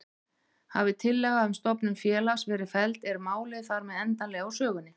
Hafi tillaga um stofnun félags verið felld er málið þar með endanlega úr sögunni.